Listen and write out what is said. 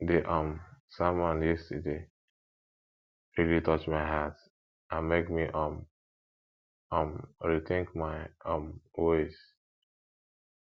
di um sermon yesterday really touch my heart and make me um um rethink my um ways